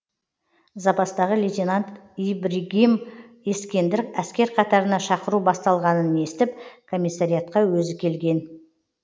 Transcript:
запастағы лейтенант ибргим ескендір әскер қатарына шақыру басталғанын естіп коммисариатқа өзі келген